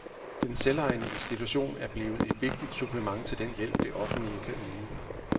Den selvejende institution blevet et vigtigt supplement til den hjælp, det offentlige kan yde.